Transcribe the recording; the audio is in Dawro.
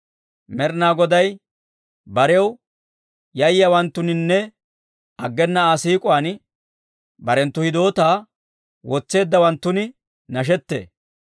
Med'inaa Goday barew yayyiyaawanttuninne aggena Aa siik'uwaan, barenttu hidootaa wotseeddawanttun nashettee.